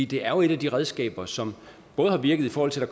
det er jo et af de redskaber som har virket i forhold til at